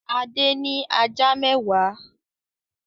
Adé ní ajá mẹ́wàá.